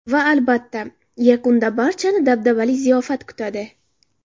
Va albatta, yakunda barchani dabdabali ziyofat kutadi.